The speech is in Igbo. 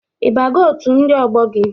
Ị bago otu ndị ọgbọ gị?